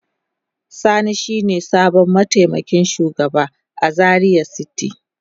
Sani shine sabon mataimakin shugaba a Zaria city.